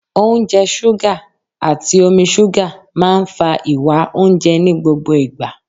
Oúnjẹ ṣúgà, àti omi ṣúgà máa ń fa ìwá oúnjẹ ní gbogbo ìgbà.